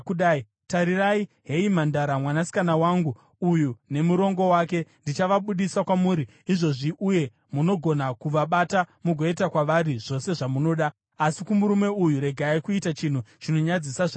Tarirai, heyi mhandara mwanasikana wangu uyu, nemurongo wake. Ndichavabudisa kwamuri izvozvi, uye munogona kuvabata mugoita kwavari zvose zvamunoda. Asi kumurume uyu, regai kuita chinhu chinonyadzisa zvakadaro.”